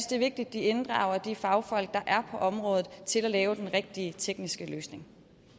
det er vigtigt at de inddrager de fagfolk der er på området til at lave den rigtige tekniske løsning